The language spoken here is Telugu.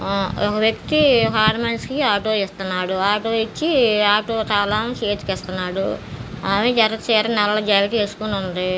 ఒక వ్యక్తి ఒక ఆడమనిషికి ఆటో ఇసున్నాడు. ఆటో ఇచ్చి ఆటో తాళం చేతికి ఇస్తున్నాడు. ఆమె ఎర్ర చీర నల్ల జాకెట్ వేసుకొని ఉంది.